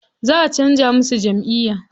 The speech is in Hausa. Za a canza masa jamʼiya.